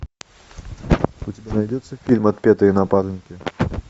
у тебя найдется фильм отпетые напарники